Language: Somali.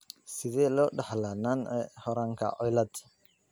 Sidee loo dhaxlaa Nance Horanka cilaad?